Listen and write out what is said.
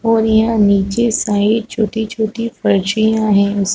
और यहाँ नीचे साइड छोटी-छोटी पर्चियां है उस --